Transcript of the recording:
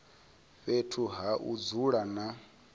fhethu ha u dzula na